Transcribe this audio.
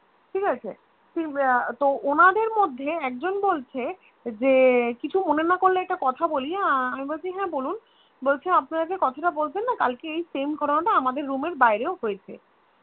তো ওনাদের মধ্যে একজন বলছে যে কিছু মনে না করলে একটা কথা বলি আমি বলছি হ্যাঁ বলুন বলছে আপনারা যে কথাটা বললেন না কালকে এই Same ঘটনা টা আমদের Room এর বাইরেও হয়েছে